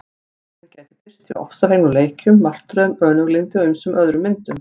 Reiðin gæti birst í ofsafengnum leikjum, martröðum, önuglyndi og ýmsum öðrum myndum.